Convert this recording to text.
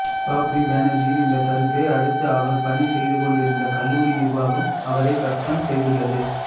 பாப்ரி பேனர்ஜியின் இந்த கருத்தை அடுத்து அவர் பணி செய்து கொண்டிருந்த கல்லூரி நிர்வாகம் அவரை சஸ்பெண்ட் செய்துள்ளது